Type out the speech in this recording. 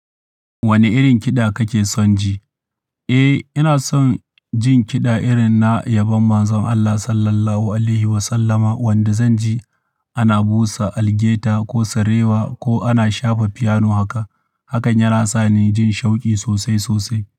Wane irin kiɗa kake son ji? Eh, ina son jin kiɗa irin na yabon Manzon Allah Sallallahu Alaihi Wasallama wanda zan ji ana busa algaita ko sarewa ko ana shafa fiyano haka. Hakan yana sa ni jin sha'uki sosai sosai.